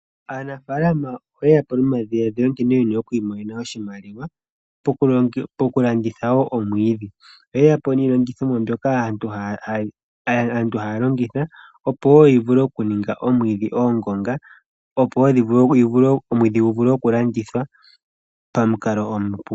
Aanafaalama oye ya po nomadhiladhilo gokwiimonena oshimaliwa moku landitha woo omwiidhi. Oye ya po niilongithomwa mbyoka aantu haya longitha opo yivule oku ninga omwiidhi oongonga . Opo omwiidhi gu vule oku landithwa pamukalo omupu.